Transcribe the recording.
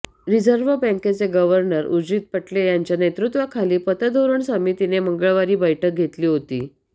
reserve बँकेचे governor Urjit Patel यांच्या नेतृत्त्वाखाली पतधोरण समितीने मंगळवारी बैठक घेतली होती